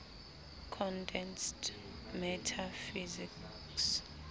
condensed matter physics